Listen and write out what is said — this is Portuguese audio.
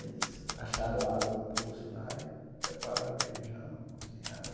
Eles acharam água num poço lá e prepararam feijão e cozinharam.